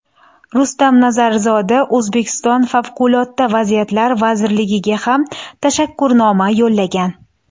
Rustam Nazarzoda O‘zbekiston Favqulodda vaziyatlar vazirligiga ham tashakkurnoma yo‘llagan.